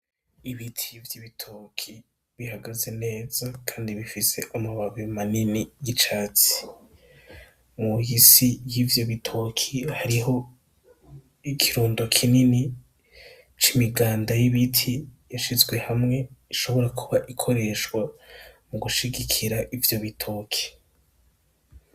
Ibiti vy'ibitoki bihagaze neza kandi bifise amababi manini y'icatsi musi yivyo bitoki hariho ikirundo kinini c'imiganda y'ibiti ishizwe hamwe ishobora kuba ikoreshwa mu gushigikira ivyo bitoki